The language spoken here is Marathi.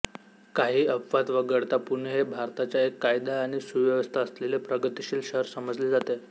काही अपवाद वगळता पुणे हे भारताच्या एक कायदा आणि सुव्यवस्था असलेले प्रगतीशील शहर समजले जाते